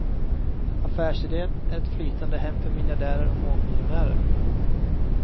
Affärsidén är ett flytande hem för miljardärer och mångmiljonärer.